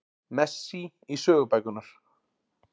Messi í sögubækurnar